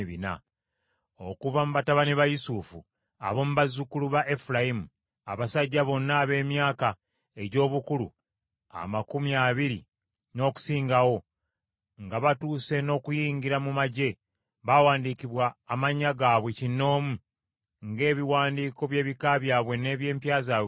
Okuva mu batabani ba Yusufu: Ab’omu bazzukulu ba Efulayimu Abasajja bonna ab’emyaka egy’obukulu amakumi abiri n’okusingawo, nga batuuse n’okuyingira mu magye, baawandiikibwa amannya gaabwe kinnoomu, ng’ebiwandiiko by’ebika byabwe n’eby’empya zaabwe bwe byali.